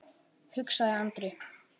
hugsaði Andri.